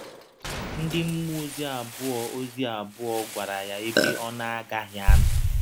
Ndị mmụọ ọzi abụọ ọzi abụọ gwara ya ebe ọ na - agaghị anọ.